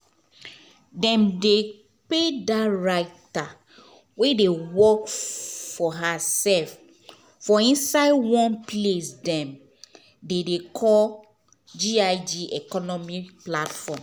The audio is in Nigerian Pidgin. dem dey pay dat writer wey dey work for hersef for inside one place dem dem dey call g i g economy platform